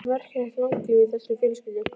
Það er merkilegt langlífi í þessari fjölskyldu.